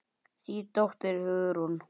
Þín dóttir, Hugrún.